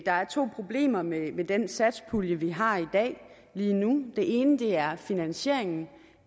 der er to problemer med med den satspulje vi har i dag lige nu det ene er finansieringen